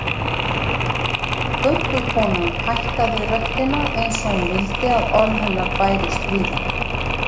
Göngukonan hækkaði röddina eins og hún vildi að orð hennar bærust víða